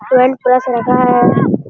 Paint brush रखा है।